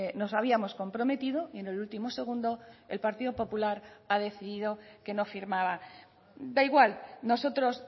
nos habíamos comprometido y en el último segundo el partido popular ha decidido que no firmaba da igual nosotros